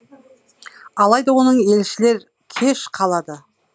алайда оның елшілер кеш қалады